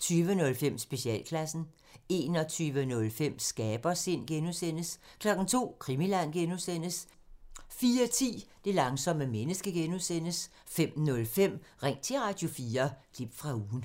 20:05: Specialklassen 21:05: Skabersind (G) 02:00: Krimiland (G) 04:10: Det langsomme menneske (G) 05:05: Ring til Radio4 – klip fra ugen